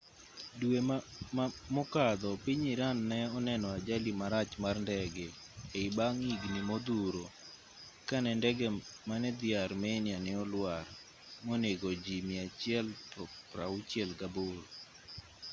due mokadho piny iran ne oneno ajali marach mar ndege ei bang' higni modhuro ka ne ndege mane dhi armenia ne olwar monego ji 168